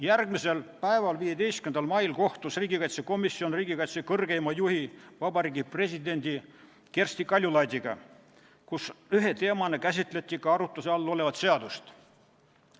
Järgmisel päeval, 15. mail kohtus riigikaitsekomisjon riigikaitse kõrgeima juhi, president Kersti Kaljulaidiga, kus ühe teemana käsitleti ka arutluse all olevat seadust.